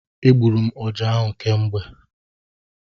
E gburu ọjá ahụ kemgbe.